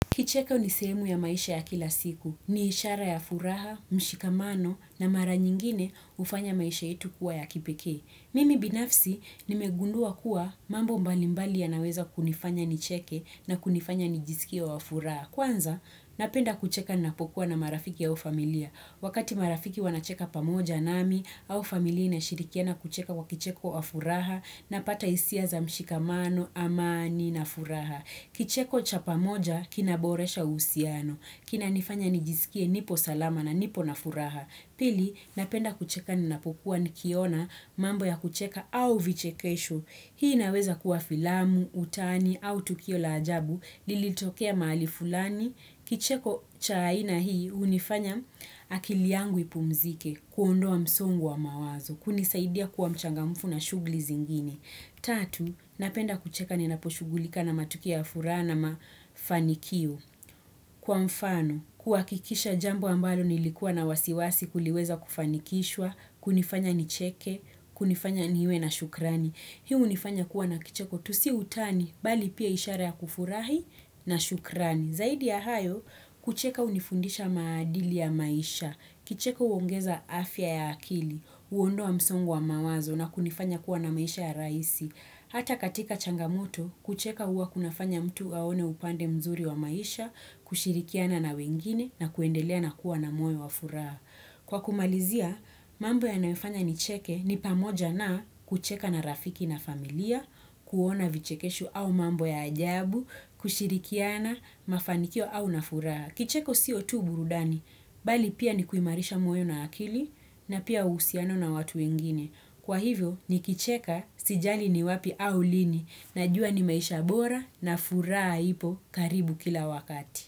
Kicheko ni sehemu ya maisha ya kila siku. Ni ishara ya furaha, mshikamano na mara nyingine hufanya maisha yetu kuwa ya kipekee. Mimi binafsi, nimegundua kuwa mambo mbalimbali yanaweza kunifanya nicheke na kunifanya nijisikie wa furaha. Kwanza, napenda kucheka napokuwa na marafiki au familia. Wakati marafiki wanacheka pamoja nami, au familia inashirikiana kucheka kwa kicheko wa furaha napata hisia za mshikamano, amani na furaha. Kicheko cha pamoja kinaboresha uhusiano. Kinanifanya nijisikie nipo salama na nipo na furaha. Pili napenda kucheka ninapokuwa nikiona mambo ya kucheka au vichekesho. Hii inaweza kuwa filamu, utani au tukio la ajabu. Lilitokea mahali fulani. Kicheko cha aina hii hunifanya akili yangu ipumzike kuondoa msongo wa mawazo. Kunisaidia kuwa mchangamfu na shughuli zingine. Tatu, napenda kucheka ninaposhughulika na matukio ya furaha na mafanikio. Kwa mfano, kuhakikisha jambo ambalo nilikuwa na wasiwasi kuliweza kufanikishwa, kunifanya nicheke, kunifanya niwe na shukrani. Hii hunifanya kuwa na kicheko tu si utani, bali pia ishara ya kufurahi na shukrani. Zaidi ya hayo, kucheka hunifundisha maadili ya maisha, kicheko huongeza afya ya akili, huondoa msongo wa mawazo na kunifanya kuwa na maisha ya rahisi. Hata katika changamoto, kucheka huwa kunafanya mtu aone upande mzuri wa maisha, kushirikiana na wengine na kuendelea na kuwa na moyo wa furaha. Kwa kumalizia, mambo yanayofanya nicheke ni pamoja na kucheka na rafiki na familia, kuona vichekesho au mambo ya ajabu, kushirikiana, mafanikio au na furaha. Kicheko sio tu burudani, bali pia ni kuimarisha moyo na akili na pia uhusiano na watu wengine. Kwa hivyo, nikicheka, sijali ni wapi au lini. Najua ni maisha bora na furaha ipo karibu kila wakati.